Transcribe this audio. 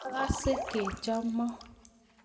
Akase kechomo